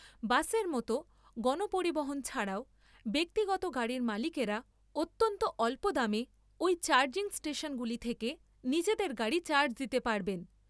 বাসের মতো গণপরিবহন ছাড়াও ব্যক্তিগত গাড়ির মালিকেরা অত্যন্ত অল্প দামে ওই চার্জিং স্টেশনগুলি থেকে নিজেদের গাড়ি চার্জ দিতে পারবেন।